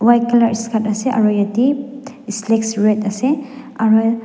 white colour skirt ase aro etey slex red ase aro--